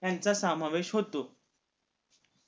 ह्यांचा सामावेश होतो